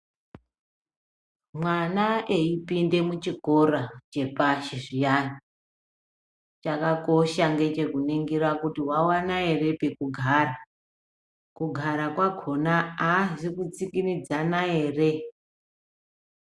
Mwana eyi pinde mu chikora chepashi zviyana chakakosha ngeche kuningira kuti wa wana ere peku gara kugara kwakona azi kutsikinyadza ere.